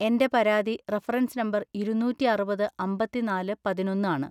എന്റെ പരാതി reference number ഇരുന്നൂറ്റി അറുപത് അമ്പതിന്നാല് പതിനൊന്ന് ആണ്.